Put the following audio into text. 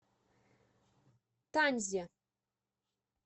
танзе